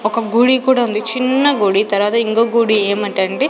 ఒక గుడి కూడా ఉంది చిన్న గుడి తర్వాత ఇంకో గుడి ఏమిటంటే--